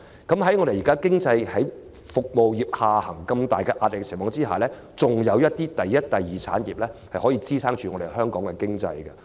那麼服務業一旦下行，如今天般面對巨大壓力，則仍有第一、第二產業支撐香港經濟。